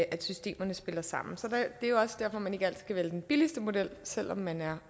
at systemerne spiller sammen det er jo også derfor man ikke altid skal vælge den billigste model selv om man er